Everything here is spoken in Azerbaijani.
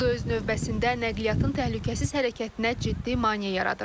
Bu da öz növbəsində nəqliyyatın təhlükəsiz hərəkətinə ciddi maneə yaradır.